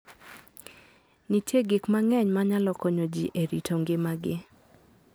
Nitie gik mang'eny manyalo konyo ji e rito ngimagi.